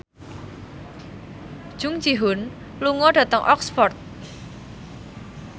Jung Ji Hoon lunga dhateng Oxford